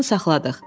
Maşını saxladıq.